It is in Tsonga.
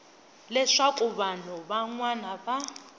leswaku vanhu van wana va